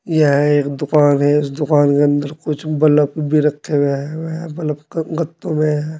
यह एक दुकान है इस दुकान के अंदर कुछ बल्ब भी रखे हुए है बल्ब का गत्तों मे है।